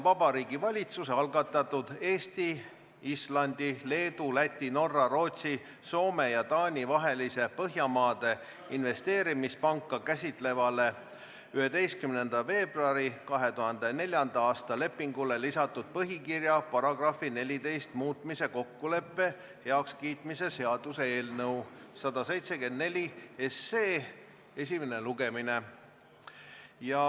Vabariigi Valitsuse algatatud Eesti, Islandi, Leedu, Läti, Norra, Rootsi, Soome ja Taani vahelise Põhjamaade Investeerimispanka käsitlevale 11. veebruari 2004. aasta lepingule lisatud põhikirja paragrahvi 14 muutmise kokkuleppe heakskiitmise seaduse eelnõu 174 esimene lugemine.